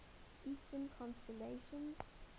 eastern constellations